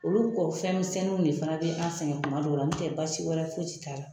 Olu kɔ fɛnmisɛnninw de fana be an sɛngɛ kuma dɔw la, n tɛ basi wɛrɛ foyi t'a la.